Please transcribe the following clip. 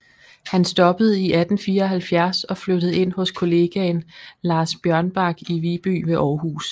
Han stoppede i 1874 og flyttede ind hos kollegaen Lars Bjørnbak i Viby ved Aarhus